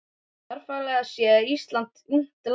Jarðfræðilega séð er Ísland ungt land.